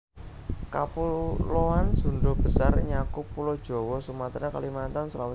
Kapuloan Sundha Besar nyakup Pulo Jawa Sumatra Kalimantan Sulawesi